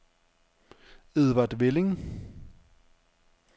Edvard Velling